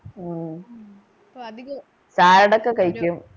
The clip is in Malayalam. salad ഒക്കെ കഴിക്കും